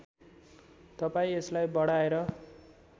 तपाईँ यसलाई बढाएर